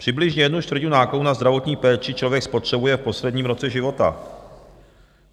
Přibližně jednu čtvrtinu nákladů na zdravotní péči člověk spotřebuje v posledním roce života.